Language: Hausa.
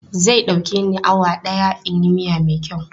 Zai ɗauke ni awa ɗaya in yi miya mai kyau.